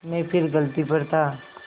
मैं फिर गलती पर था